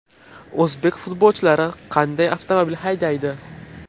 O‘zbek futbolchilari qanday avtomobil haydaydi?.